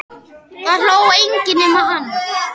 Það hló enginn nema hann.